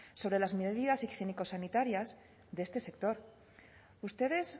sobre las medidas higiénico sanitarias de este sector ustedes